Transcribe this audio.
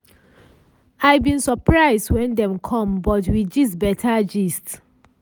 i bin surprise when dem com but we gist beta gist.